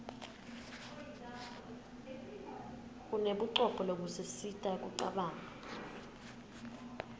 unebucopho lobusisita kucabanga